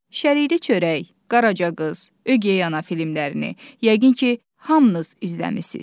Şəridə çörək, Qaraca qız, Ögey ana filmlərini, yəqin ki, hamınız izləmisiniz.